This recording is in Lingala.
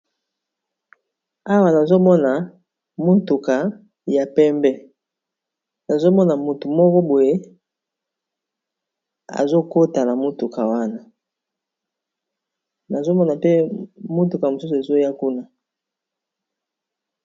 Awa nazomona motuka ya pembe nazomona motu moko boye azokotana motuka wana nazomona pe motuka mosusu ezoya kuna.